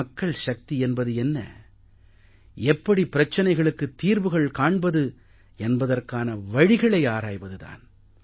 மக்கள் சக்தி என்பது என்ன எப்படி பிரச்சனைகளுக்குத் தீர்வுகள் காண்பது என்பதற்கான வழிகளை ஆராய்வது தான்